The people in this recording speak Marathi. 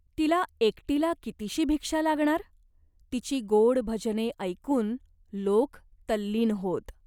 तिला एकटीला कितीशी भिक्षा लागणार? तिची गोड भजने ऐकून लोक तल्लीन होत.